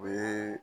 O ye